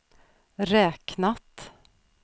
räknat